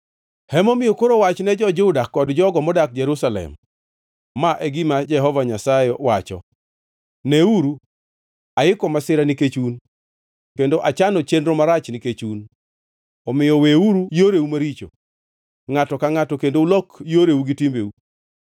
“Emomiyo koro wachne jo-Juda kod jogo modak Jerusalem, ‘Ma e gima Jehova Nyasaye wacho: Neuru! Aiko masira nikech un kendo achano chenro marach nikech un. Omiyo weuru yoreu maricho, ngʼato ka ngʼato, kendo ulok yoreu gi timbeu.’